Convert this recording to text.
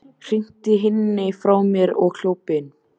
Hrinti henni frá mér og hljóp inn.